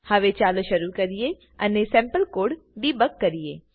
હવે ચાલો શરુ કરીએ અને સેમ્પલ કોડ ડેબગ કરીએ